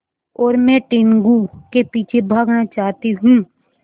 और मैं टीनगु के पीछे भागना चाहती हूँ